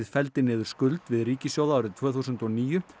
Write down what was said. fella niður skuld við ríkissjóð árið tvö þúsund og níu